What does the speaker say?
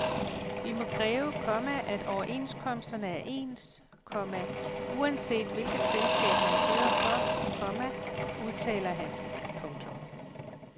Vi må kræve, komma at overenskomsterne er ens, komma uanset hvilket selskab man kører for, komma udtaler han. punktum